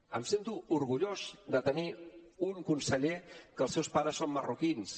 em sento orgullós de tenir un conseller que els seus pares són marroquins